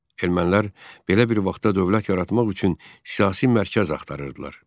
Ermənilər belə bir vaxtda dövlət yaratmaq üçün siyasi mərkəz axtarırdılar.